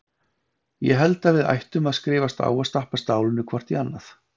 Ég held að við ættum að skrifast á og stappa stálinu hvort í annað.